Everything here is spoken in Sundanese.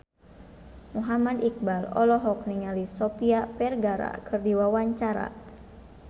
Muhammad Iqbal olohok ningali Sofia Vergara keur diwawancara